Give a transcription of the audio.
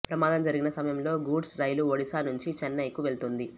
ప్రమాదం జరిగిన సమయంలో గూడ్సు రైలు ఒడిశా నుంచి చెన్నయ్కు వెళుతోంది